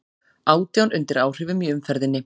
Átján undir áhrifum í umferðinni